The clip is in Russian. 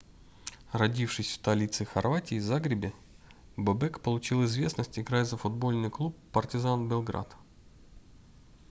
родившись в столице хорватии загребе бобек получил известность играя за футбольный клуб партизан белград